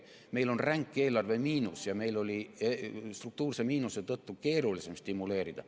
Meil on ränk eelarvemiinus ja meil oli struktuurse miinuse tõttu keerulisem stimuleerida.